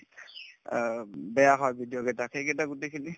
অ, বেয়া হয় video কেইটা সেইকেইটা গোটেইখিনি